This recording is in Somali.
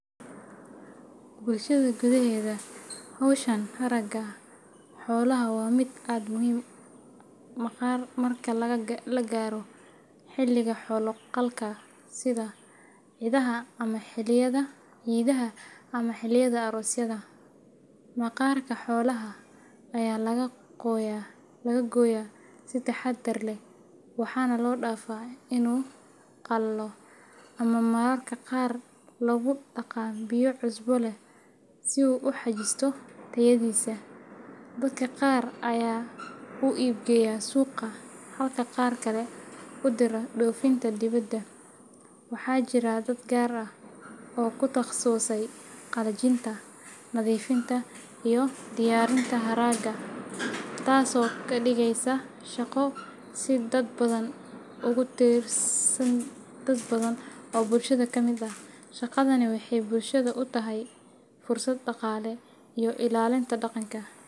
Bulshadayda gudaheeda, hawsha haragga xoolaha waa mid aad u muhiima marka la gaaro xilliga xoolo-qalka sida Ciidaha ama xilliyada aroosyada. Maqaarka xoolaha ayaa laga gooyaa si taxadar leh, waxaana loo dhaafaa inuu qalalo ama mararka qaar lagu dhaqaa biyo cusbo leh si uu u xajisto tayadiisa. Dadka qaar ayaa u iib geeya suuqa, halka qaar kale u dira dhoofinta dibedda. Waxaa jira dad gaar ah oo ku takhasusay qalajinta, nadiifinta iyo diyaarinta haragga, taasoo ka dhigaysa shaqo si dadban ugu tiirsan dad badan oo bulshada ka mid ah. Shaqadani waxay bulshada u tahay fursad dhaqaale iyo ilaalinta dhaqanka.